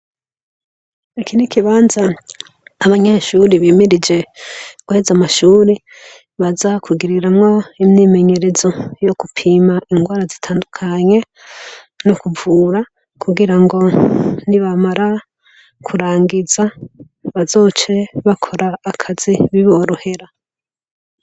Iki ni ikibanza abanyeshure bimirije guheza amashure baza kugiriramwo imyimenyerezo' n'ugupima ingwara zitandukanye n'ukuvura kugira ngo nibamara kurangiza bazoce bakora akazi biborohera.